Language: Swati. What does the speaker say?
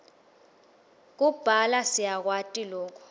kubhala siyakwati loku